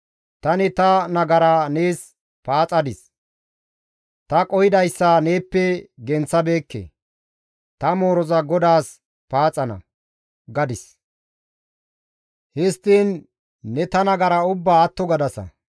Tani ta nagara nees paaxadis; ta qohidayssa neeppe genththabeekke; «Ta mooroza GODAAS paaxana» gadis. Histtiin ne ta nagara ubbaa atto gadasa.